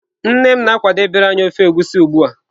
Nne m na-akwadebere anyi ofe Egusi ugbua.